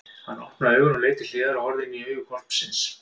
Hann opnaði augun og leit til hliðar og horfði inní augu hvolpsins!